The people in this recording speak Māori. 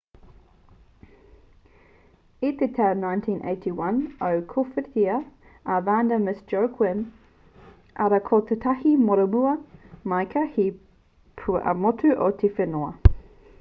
i te tau 1981 i kōwhiritia a vanda miss joaquim arā ko tētahi momorua māika hei pua ā-motu o te whenua